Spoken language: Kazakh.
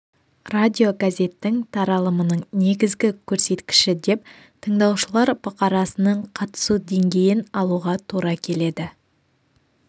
радиогазеттің таралымының негізгі көрсеткіші деп тыңдаушылар бұқарасының қатысу деңгейін алуға тура келеді